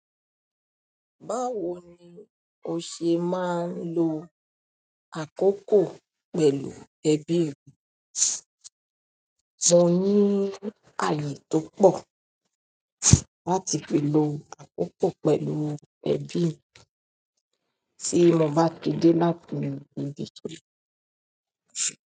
Báwo ni o ṣe máa ń lo àkókò pẹ̀lú ẹbí rẹ? Mo ní ààyè tó pọ̀ láti lè lo àkókò pẹ̀lú ẹbí tí mo bá ti de láti ibi iṣẹ́.